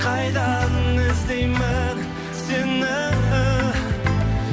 қайдан іздеймін сені